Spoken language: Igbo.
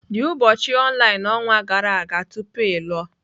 The ụbọchị online ọnwa gara aga tupu ịlụ.